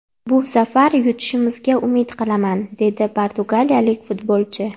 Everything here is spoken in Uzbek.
Bu safar yutishimga umid qilaman”, – dedi portugaliyalik futbolchi.